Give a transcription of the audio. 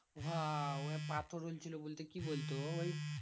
উহা ওই পাথর হইল ছিল বলতে কি বলতো? ওই